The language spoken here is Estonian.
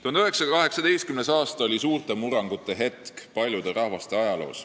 1918. aasta oli suurte murrangute aeg paljude rahvaste ajaloos.